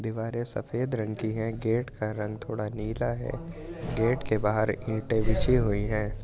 दीवारें सफेद रंग की हैं गेट का रंग थोड़ा नीला है गेट के बाहर इंटे बिछी हुई हैं ।